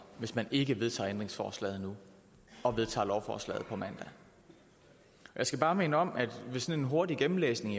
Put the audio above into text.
hvis man ikke vedtager ændringsforslaget nu og vedtager lovforslaget på mandag jeg skal bare minde om efter en hurtig gennemlæsning